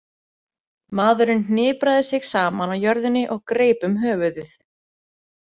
Maðurinn hnipraði sig saman á jörðinni og greip um höfuðið.